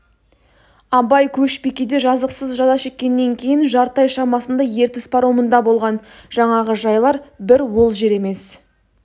абай көшбикеде жазықсыз жаза шеккеннен кейін жарты ай шамасында ертіс паромында болған жаңағы жайлар бір ол жер емес